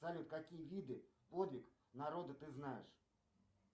салют какие виды подвиг народа ты знаешь